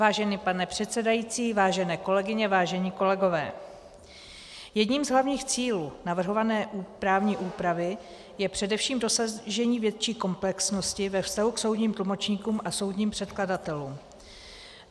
Vážený pane předsedající, vážené kolegyně, vážení kolegové, jedním z hlavních cílů navrhované právní úpravy je především dosažení větší komplexnosti ve vztahu k soudním tlumočníkům a soudním překladatelům.